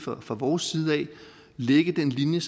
fra vores side lægge den linje